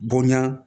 Bonya